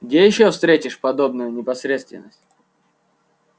где ещё встретишь подобную непосредственность